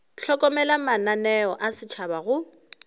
hlokomela mananeo a setšhaba go